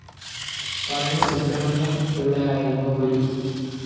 പളനി സുബ്രമണ്യം പിള്ളയായിരുന്നു ഗുരു.